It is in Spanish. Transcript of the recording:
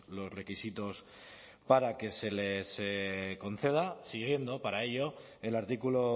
los requisitos para que se les conceda siguiendo para ello el artículo